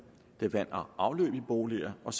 vand og afløb i boliger og